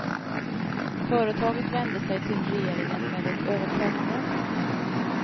Företaget vände sig till regeringen med ett överklagande.